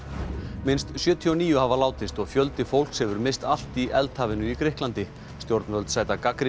minnst sjötíu og níu hafa látist og fjöldi fólks hefur misst allt í í Grikklandi stjórnvöld sæta gagnrýni